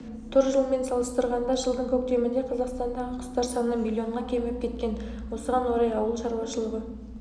тұр жылмен салыстырғанда жылдың көктемінде қазақстандағы құстар саны млн-ға кеміп кеткен осыған орай ауыл шаруашылығы